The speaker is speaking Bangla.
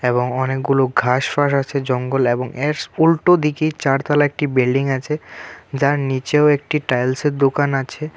এবং অনেকগুলো ঘাসফাস আছে জঙ্গল এবং এস উল্টোদিকে চারতলা একটি বিল্ডিং আছে যার নীচেও একটি টাইলসের দোকান আছে.